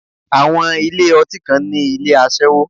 Àwọn ilé ọtí kan ní ilé aṣẹ́wó.